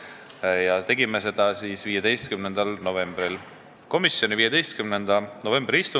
Eelnõu algatas Vabariigi Valitsus 11. juunil k.a. Esimene lugemine lõpetati 26. septembril k.a ning muudatusettepanekute esitamise tähtajaks määrati 10. oktoober k.a kell 16.